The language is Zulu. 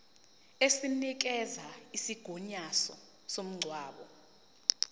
esinikeza isigunyaziso somngcwabo